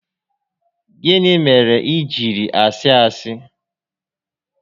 Gịnị mere i jiri asị asị?